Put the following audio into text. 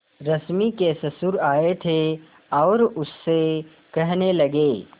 रश्मि के ससुर आए थे और उससे कहने लगे